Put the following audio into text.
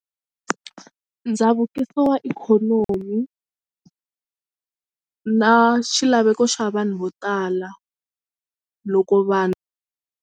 Ndzavukiso wa ikhonomi na xilaveko xa vanhu vo tala loko vanhu.